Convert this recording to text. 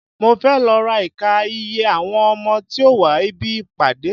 Mo fẹ́ lọ ká iye àwọn ọmọ tí ó wá ibi ìpàdé.